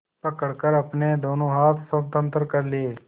पकड़कर अपने दोनों हाथ स्वतंत्र कर लिए